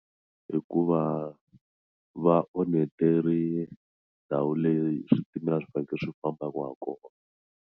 Hikuva va ndhawu leyi switimela a swi fanekele swi fambaka kona.